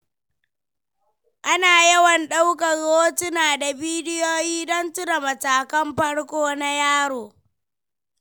Ana yawan ɗaukar hotuna da bidiyo don tuna matakan farko na yaro.